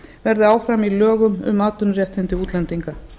verði áfram í lögum um atvinnuréttindi útlendinga